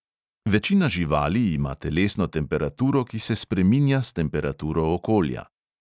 Večina živali ima telesno temperaturo, ki se spreminja s temperaturo okolja.